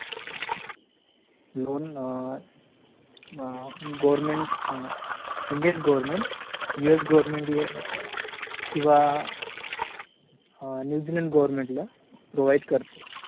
loan government GOVERMENT GAVERNMENT किंवा अ Indian government ला PROVIDE करते